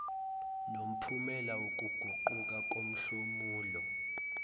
nomphumela wokuguquka komhlomulo